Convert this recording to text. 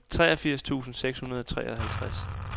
toogfirs tusind seks hundrede og treoghalvtreds